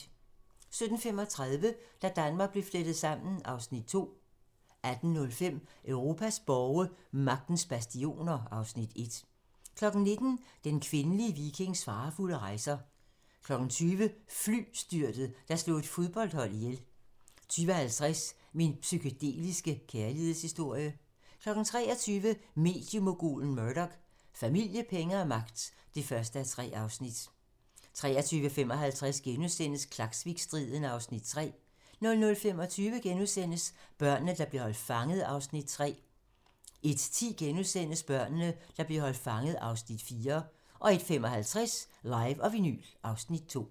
17:35: Da Danmark blev flettet sammen (Afs. 2) 18:05: Europas borge: Magtens bastioner (Afs. 1) 19:00: Den kvindelige vikings farefulde rejser 20:00: Flystyrtet, der slog et fodboldhold ihjel 20:50: Min psykedeliske kærlighedshistorie 23:00: Mediemogulen Murdoch: Familie, penge og magt (1:3) 23:55: Klaksvikstriden (Afs. 3)* 00:25: Børnene, der blev holdt fanget (Afs. 3)* 01:10: Børnene, der blev holdt fanget (Afs. 4)* 01:55: Live & vinyl (Afs. 2)